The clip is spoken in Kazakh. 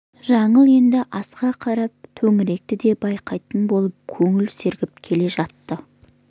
жаңыл енді асқа қарап төңіректі де байқайтын болып көңілі сергіп келе жатты